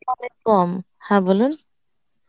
কম হ্যাঁ বলুন